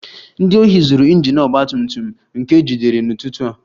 Ndị ohi zuru injin ọgba tum tum m ka ejidere n'ụtụtụ a